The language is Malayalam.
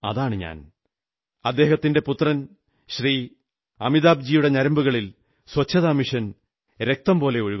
മിട്ടി കാ മൻ മസ്തി കാ മൻ ക്ഷൺ ഭർ ജീവൻ അദ്ദേഹത്തിന്റെ പുത്രൻ ശ്രീ അമിതാഭ്ജിയുടെ ഞരമ്പുകളിൽ ശുചിത്വ യജ്ഞം രക്തംപോലെ ഒഴുകുന്നു